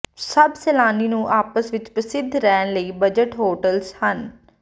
ਸਭ ਸੈਲਾਨੀ ਨੂੰ ਆਪਸ ਵਿੱਚ ਪ੍ਰਸਿੱਧ ਰਹਿਣ ਲਈ ਬਜਟ ਹੋਟਲਜ਼ ਹਨ